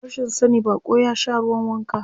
A rashin sani baƙo ya sha ruwan wanka.